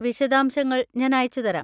വിശദാംശങ്ങൾ ഞാൻ അയച്ചുതരാം.